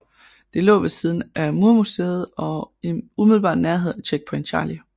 Det lå ved siden af murmuséet og i umiddelbar nærhed af Checkpoint Charlie